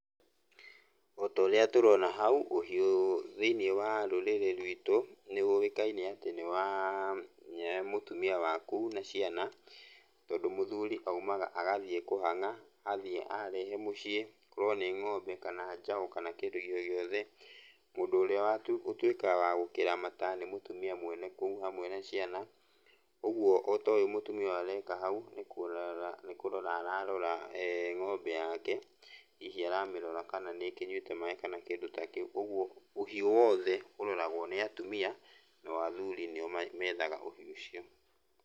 Ota ũrĩa tũrona hau, ũhiũ thĩiniĩ wa rũrĩrĩ rwitũ nĩũwĩkaine atĩ nĩ wa mũtumia wa kũu na ciana, tondũ mũthuri aumaga agathiĩ kũhang'a, athiĩ ahere mũciĩ, akorwo nĩ ng'ombe kana njaũ kana kĩndũ o gĩothe, mũndũ ũrĩa ũtuĩkaga wa gũkĩramata nĩ mũtumia mwene kũu hamwe na ciana. Ũguo ota ũyũ mũtumia areka hau, nĩ kũrora nĩkũrora ararora ng'ombe yake, hihi aramĩrora kana nĩkĩnyuĩte maĩ kana kĩndũ ta kĩu, ũguo ũhiũ wothe ũroragwo nĩ atumia, nao athuri nĩo methaga ũhiũ ũcio.